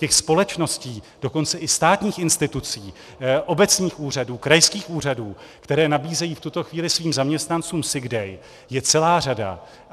Těch společností, dokonce i státních institucí, obecních úřadů, krajských úřadů, které nabízejí v tuto chvíli svým zaměstnancům sick day, je celá řada.